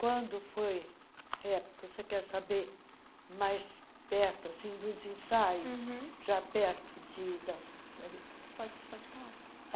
Quando foi época, você quer saber, mais perto, assim, dos ensaios uhum, já perto de dan ãh... Pode pode falar.